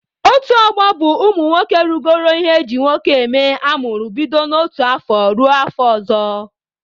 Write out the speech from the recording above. Otu ọgbọ bụ ụmụ nwoke rugoro ihe eji nwoke eme amụrụ bido n'otu afọ ruo afọ ọzọ.